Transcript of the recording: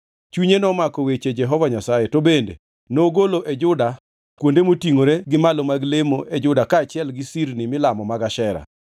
Chunye nomako weche Jehova Nyasaye, to bende nogolo e Juda kuonde motingʼore gi malo mag lemo e Juda kaachiel gi sirni milamo mag Ashera.